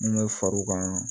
N bɛ far'u kan